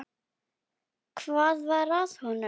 Hvað var að honum?